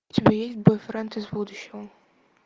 у тебя есть бойфренд из будущего